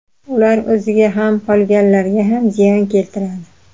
Ular o‘ziga ham qolganlarga ham ziyon keltiradi.